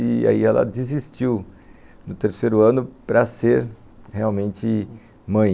E aí ela desistiu no terceiro ano para ser realmente mãe.